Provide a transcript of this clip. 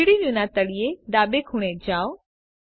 3ડી વ્યુના તળિયે ડાબે ખૂણે જાઓ